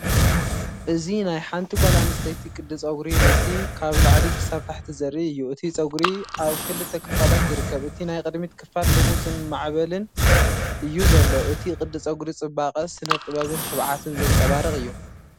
እዚ ናይ ሓንቲ ጓል ኣንስተይቲ ቅዲ ጸጉሪ ርእሲ ካብ ላዕሊ ክሳብ ታሕቲ ዘርኢ እዩ። እቲ ጸጉሪ ኣብ ክልተ ክፋላት ይርከብ፡ እቲ ናይ ቅድሚት ክፋል ልሙጽን ማዕበልን እዩ ዘሎ። እዚ ቅዲ ጸጉሪ ጽባቐ፡ ስነ-ጥበብን ትብዓትን ዘንጸባርቕ እዩ።